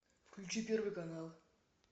включи первый канал